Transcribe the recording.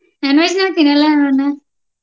Non-veg ನಾವ ತಿನ್ನಲ್ಲ ಅಣ್ಣ.